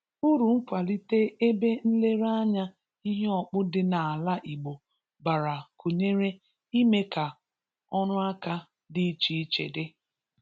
Uru ịkwalite ebe nlerenanya ihe ọkpụ dị n’ala Igbo bara gụnyere ime ka ọrụaka dị iche iche di